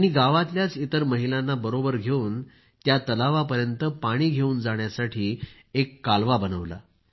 त्यांनी गावातल्याच इतर महिलांना बरोबर घेऊन त्या तलावापर्यंत पाणी घेऊन जाण्यासाठी एक कालवा बनवला